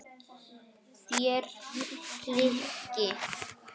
Þér hikið?